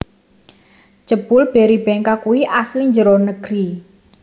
Jebul Berrybenka kui asli njero negeri